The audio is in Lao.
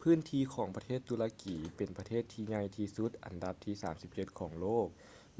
ພື້ນທີ່ຂອງປະເທດຕຸລະກີເປັນປະເທດທີ່ໃຫຍ່ທີ່ສຸດອັນດັບທີ 37 ຂອງໂລກ